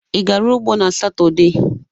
Ị gara ugbo n'Satọde?